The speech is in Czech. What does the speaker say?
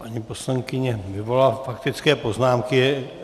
Paní poslankyně vyvolala faktické poznámky.